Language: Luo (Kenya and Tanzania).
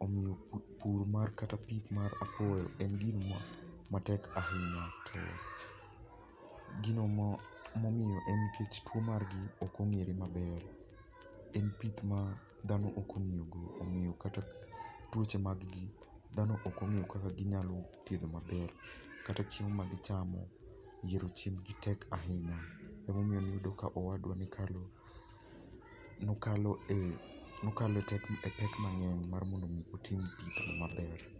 Omiyo pur kata pith mar apuoyo en gimatek ahinya to gino momiyo en gik tuo margi ok ong'ere maber. En pith dhano ok ong'eyo kata tuoche mag gi dhano ok ong'eyo kaka ginyalo thiedho maber. Kata chiemo magichamo. Yiero chiembgi tek ahinya emomiyo iyudo ka owadwa ne okalo e pek mang'eny mar mondo mi otim gini maber.